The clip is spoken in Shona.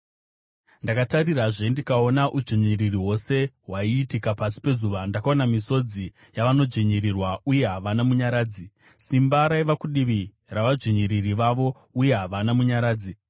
Ndakatarirazve ndikaona udzvinyiriri hwose hwaiitika pasi pezuva: Ndakaona misodzi yavanodzvinyirirwa, uye havana munyaradzi; simba raiva kudivi ravadzvinyiriri vavo, uye havana munyaradzi.